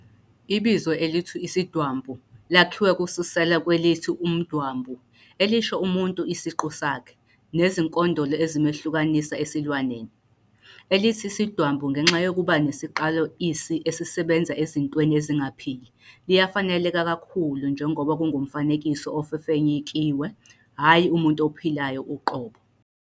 Ibizo elithi "isidwambu" lakhiwe kususela kwelithi "umdwambu" elisho 'umuntu isiqu sakhe, nezinkondolo ezimehlukanisa esilwaneni.' Elithi isidwambu ngenxa yokuba nesiqalo 'isi' esisebenza ezintweni ezingaphili, liyafaneleka kakhulu njengoba kungumfanekiso ofefenyekiwe, hhayi umuntu ophilayo uqobo.